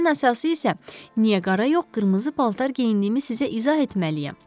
Ən əsası isə niyə qara yox, qırmızı paltar geyindiyimi sizə izah etməliyəm.